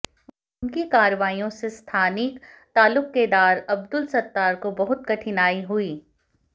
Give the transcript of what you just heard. उनकी कार्रवाइयों से स्थानीक तालुकेदार अब्दुल सत्तार को बहुत कठिनाई हुई